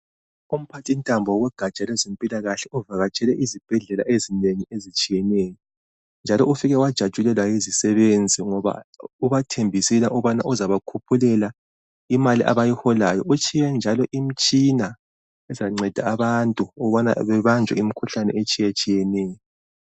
Umphathintambo wogatsha lwezempilakahle uvakatshele izibhedlela ezinengi ezitshiyeneyo njalo ufike wajatshulelwa yi zisebenzi ngoba ubathembisile ukubana uzabakhuphulela imali abayiholayo, utshiye njalo imitshina ezanceda abantu ukubana bebanjwe imikhuhlane etshiyeneyo.